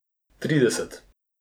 Trideset.